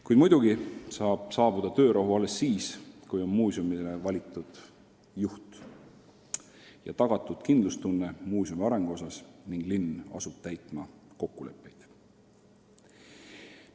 Kuid muidugi saab töörahu saabuda alles siis, kui on muuseumile valitud juht ja tagatud kindlustunne asutuse arengu osas ning linn asub kokkuleppeid täitma.